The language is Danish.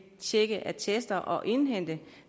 tjekke attester og indhente